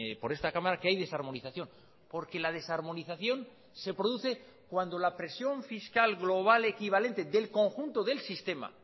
por esta cámara que hay desarmonización porque la desarmonización se produce cuando la presión fiscal global equivalente del conjunto del sistema